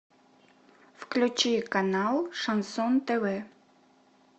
включи канал шансон тв